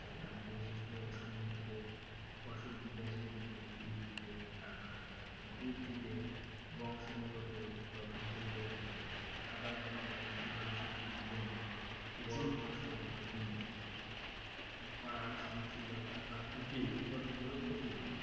উদ্ভিদের বংশ বিগত গঠন পরিবর্তন করে আবার আপনার ধরেন উদাহরণ স্বরূপ যদি বলি ফসল বা বীচ খরা সংশিলতা বা উৎপাদন গুলো প্রতিরোধ